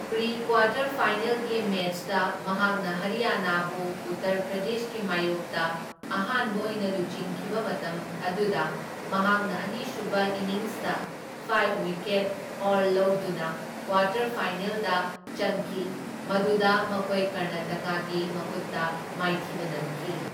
Pre quarter ꯐꯥꯏꯅꯦꯜꯒꯤ ꯃꯦꯆꯇ ꯃꯍꯥꯛꯅ ꯍꯔꯤꯌꯥꯅꯥꯕꯨ ꯎꯠꯇꯔ ꯄ꯭ꯔꯗꯦꯁꯀꯤ ꯃꯥꯢꯌꯣꯛꯇ ꯑꯍꯥꯟꯕ ꯑꯣꯏꯅ ꯂꯨꯆꯤꯡꯈꯤꯕ ꯃꯇꯝ ꯑꯗꯨꯗ ꯃꯍꯥꯛꯅ ꯑꯅꯤꯁꯨꯕ ꯏꯅꯤꯡꯁꯇ ꯐꯥꯢꯚ ꯋꯤꯀꯦꯠ ꯍꯥꯎꯜ ꯂꯧꯗꯨꯅ ꯀ꯭ꯋꯥꯇꯔ ꯐꯥꯏꯅꯦꯜꯗ ꯆꯪꯈꯤ, ꯃꯗꯨꯗ ꯃꯈꯣꯏ ꯀꯔꯅꯥꯇꯀꯥꯒꯤ ꯃꯈꯨꯠꯇ ꯃꯥꯏꯊꯤꯕ ꯅꯪꯈꯤ꯫